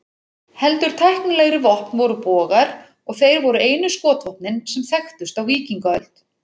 Heldur tæknilegri vopn voru bogar, og þeir voru einu skotvopnin sem þekktust á víkingaöld.